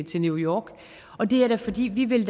til new york og det er da fordi vi vil